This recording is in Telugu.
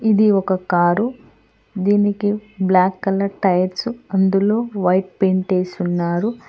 ఇది ఒక కారు . దీనికి బ్లాక్ కలర్ టైర్స్ అందులో వైట్ పెయింట్ వేసి ఉన్నారు.